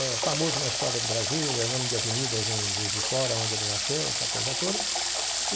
É famoso na história do Brasil, é nome de avenidas em Juiz de Fora, onde ele nasceu, essa coisa toda.